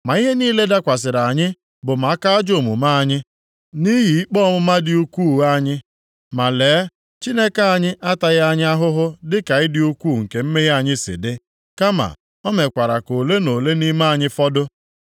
“Ma ihe niile dakwasịrị anyị bụ maka ajọ omume anyị, nʼihi ikpe ọmụma dị ukwuu anyị. Ma lee, Chineke anyị ataghị anyị ahụhụ dịka ịdị ukwuu nke mmehie anyị si dị, kama, o mekwara ka ole na ole nʼime anyị fọdụ.